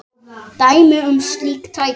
Dæmi um slík tæki